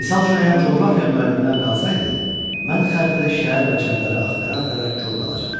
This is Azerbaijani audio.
Misal üçün, əgər coğrafiya müəlliminə qalsaydı, mən xəritədə şəhər və çayları axtara-axtara kor qalacaqdım.